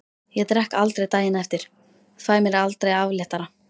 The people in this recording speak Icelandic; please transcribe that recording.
Ég drekk aldrei daginn eftir, fæ mér aldrei afréttara.